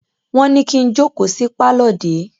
Wọ́n ní kí n jókòó sí pálọ̀ dè é!